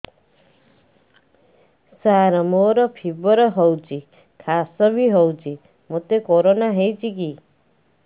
ସାର ମୋର ଫିବର ହଉଚି ଖାସ ବି ହଉଚି ମୋତେ କରୋନା ହେଇଚି କି